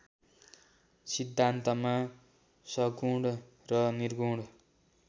सिद्धान्तमा सगुण र निर्गुण